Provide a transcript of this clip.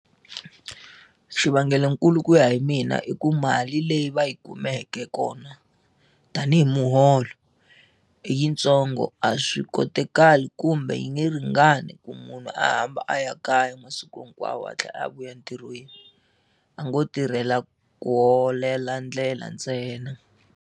Xivangelokulu ku ya hi mina i ku mali leyi va yi kumeke kona tanihi muholo i yitsongo a swi kotekali kumbe yi nge ringani ku munhu a hamba a ya kaya masiku hinkwawo a tlhela a vuya entirhweni a ngo tirhela ku holela ndlela ntsena.